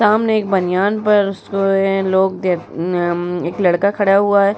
सामने एक बनियान पर सोये लोग के अम्म अम्म्म एक लड़का खड़ा हुआ है।